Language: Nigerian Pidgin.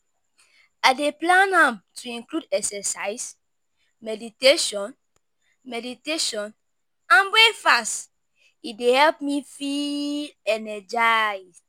I dey plan am to include exercise, meditation meditation and breakfast, e dey help me feel energized.